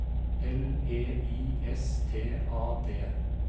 L E I S T A D